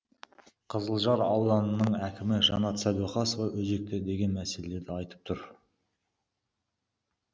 қызылжар ауданының әкімі жанат сәдуақасов өзекті деген мәселелерді айтып тұр